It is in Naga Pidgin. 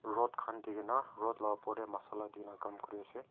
rod khan di kene rod la oper te masala dine kam kuri ase.